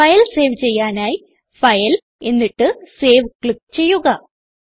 file save ചെയ്യാനായി file എന്നിട്ട് save click ചെയ്യുക